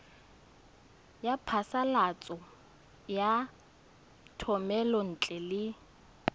ya phasalatso ya thomelontle le